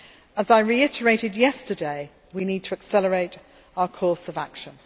As I reiterated yesterday, we need to accelerate our course of action.